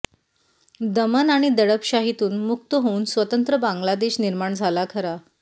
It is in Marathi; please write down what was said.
दमन आणि दडपशाहीतून मुक्त होऊन स्वतंत्र बांगलादेश निर्माण झाला खरा